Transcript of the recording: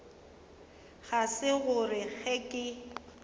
ga se gore ge ke